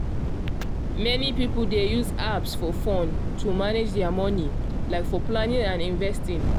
many people dey use apps for phone to manage dia money like for planning and investing.